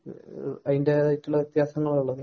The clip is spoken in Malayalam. അതിന്റേതായിട്ടുള്ള വ്യത്യാസങ്ങൾ